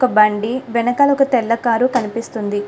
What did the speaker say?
హా మనకు ఒక బండి. వెనకాల ఒక తెల్ల కారు కనిపిస్తుంది.